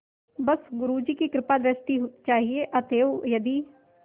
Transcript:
बस गुरु जी की कृपादृष्टि चाहिए अतएव यदि